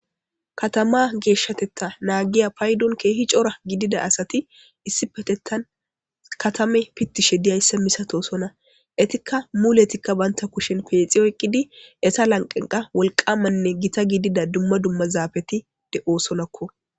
katama geeshshatetta naagiya paydon keehi cora gidida asati issi petettan katame pittishe diyayssa misato sona etikka muletikka baynta kushen peexi oyqqidi esa lanqenqa wolqamanne gita gidida dumma dumma zaabeti de7oosonakko